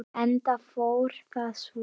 Enda fór það svo.